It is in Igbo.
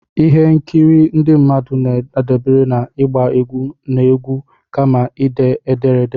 ihe nkiri ndị mmadụ na-adabere na ịgba egwu na egwu, kama ide ederede